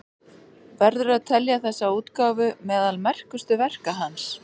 Verður að telja þessa útgáfu meðal merkustu verka hans.